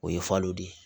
O ye falo de ye